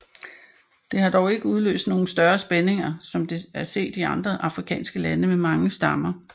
Det har dog ikke udløst nogle større spændinger som det er set i andre afrikanske lande med mange stammer